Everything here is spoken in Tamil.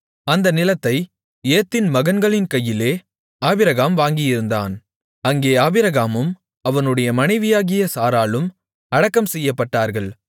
அந்த நிலத்தை ஏத்தின் மகன்களின் கையிலே ஆபிரகாம் வாங்கியிருந்தான் அங்கே ஆபிரகாமும் அவனுடைய மனைவியாகிய சாராளும் அடக்கம் செய்யப்பட்டார்கள்